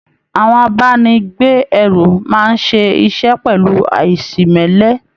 Àwọn abáni gbé ẹrù máa n ṣe iṣẹ pẹlu aìsimẹ́lẹ́.